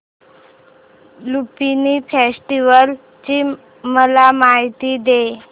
Lumbini festival ची मला माहिती दे